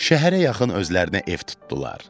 Şəhərə yaxın özlərinə ev tutdular.